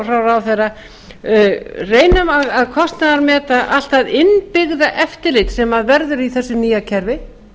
ráðherra reynum að kostnaðarmeta allt það innbyggða eftirlit sem verður í þessu nýja kerfi